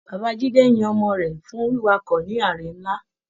Bàbá Jide yín ọmọ rẹ fún wiwakọ ní àrè nlá.